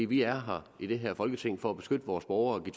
vi er i det her folketing for at beskytte vores borgere og give